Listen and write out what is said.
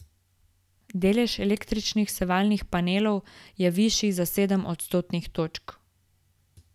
Delež električnih sevalnih panelov je višji za sedem odstotnih točk.